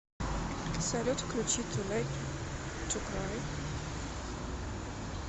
салют включи ту лейт ту край